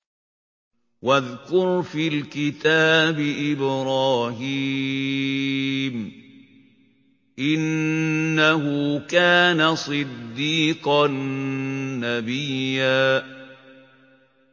وَاذْكُرْ فِي الْكِتَابِ إِبْرَاهِيمَ ۚ إِنَّهُ كَانَ صِدِّيقًا نَّبِيًّا